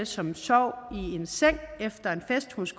som sov i en seng efter en fest hos